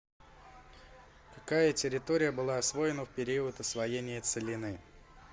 какая территория была освоена в период освоения целины